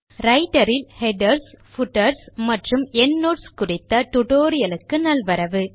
writer இல் headers footers மற்றும் endnotes குறித்த டியூட்டோரியல் க்கு நல்வரவு